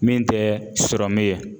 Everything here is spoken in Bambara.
Min tɛ sɔrɔmu ye